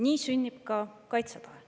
Nii sünnib ka kaitsetahe.